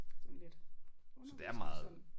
Sådan lidt uspecificeret